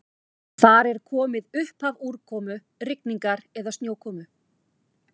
Þar er komið upphaf úrkomu, rigningar eða snjókomu.